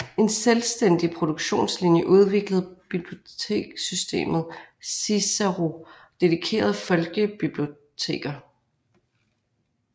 En selvstændig produktionlinje udviklede bibliotekssystemet Cicero dedikeret folkebiblioteker